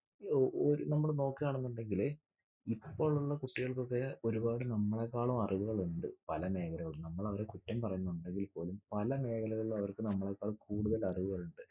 ഏർ ഓ നമ്മള് നോക്കാണെന്നുണ്ടെകില് ഇപ്പോൾ ഉള്ള കുട്ടികൾക്കൊക്കെ ഒരുപാട് നമ്മളെക്കാളും അറിവുകളുണ്ട്. പല മേഖലകളിലും. നമ്മളവരെ കുറ്റം പറയുന്നുണ്ടെങ്കിൽപോലും പല മേഖലകളിൽ അവർക്ക് നമ്മളെക്കാൾ കൂടുതൽ അറിവുകൾ ഇണ്ട്.